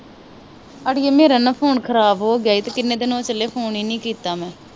ਅੜੀਏ ਮੇਰਾ ਨਾ ਫੋਨ ਖਰਾਬ ਹੋਗਿਆ ਈ ਤੇ ਕਿਨ੍ਹੇ ਦਿਨ ਹੋ ਚਲੇ ਫੋਨ ਈ ਨਹੀਂ ਕੀਤਾ ਮੈ।